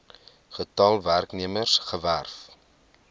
getal werknemers gewerf